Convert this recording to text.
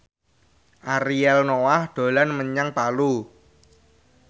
Ariel Noah dolan menyang Palu